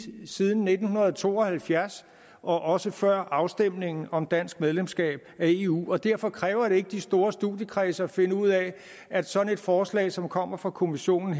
siden nitten to og halvfjerds og også før afstemningen om dansk medlemskab af eu og derfor kræver det ikke de store studiekredse at finde ud af at sådan et forslag som her kommer fra kommissionen